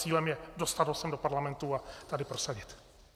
Cílem je dostat ho sem do Parlamentu a tady prosadit.